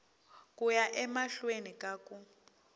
ku ya emahlweni ka ku